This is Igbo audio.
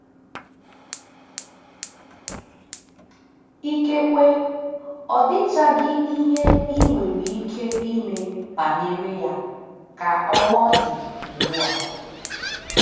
Ikekwe, ọ dịchaghị ihe i nwere ike ime banyere ya ka ọ ọ dị ugbu a.